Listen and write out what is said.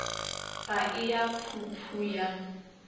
ga e ya phuphu ya